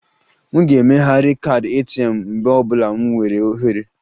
M ga-emegharị kaadị ATM m mgbe ọ bụla m nweere ohere